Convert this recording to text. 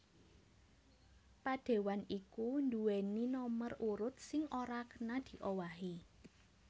Padéwan iku nduwèni nomer urut sing ora kena diowahi